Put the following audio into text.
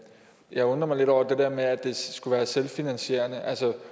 jeg undrer mig lidt over det der med at det skulle være selvfinansierende